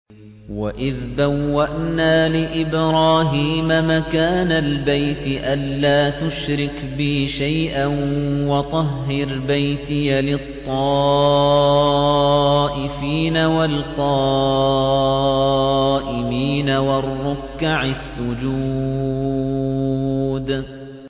وَإِذْ بَوَّأْنَا لِإِبْرَاهِيمَ مَكَانَ الْبَيْتِ أَن لَّا تُشْرِكْ بِي شَيْئًا وَطَهِّرْ بَيْتِيَ لِلطَّائِفِينَ وَالْقَائِمِينَ وَالرُّكَّعِ السُّجُودِ